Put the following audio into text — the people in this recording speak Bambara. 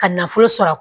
Ka nafolo sɔrɔ